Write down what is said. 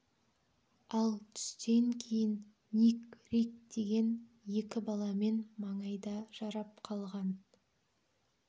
ал түстен кейін ник рик деген екі баламен маңайда жарап қалған